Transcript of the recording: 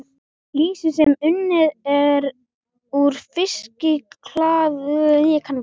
Lýsi sem unnið er úr fiskalifur er